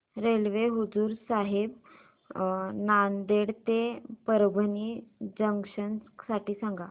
railway Hazur Sahib Nanded ते Parbhani junction साठी सांगा